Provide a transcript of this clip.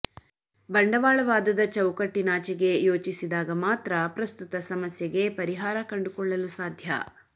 ಬಂಡವಾಳವಾದದ ಚೌಕಟ್ಟಿನಾಚೆಗೆ ಯೋಚಿಸಿದಾಗ ಮಾತ್ರ ಪ್ರಸ್ತುತ ಸಮಸ್ಯೆಗೆ ಪರಿಹಾರ ಕಂಡುಕೊಳ್ಳಲು ಸಾಧ್ಯ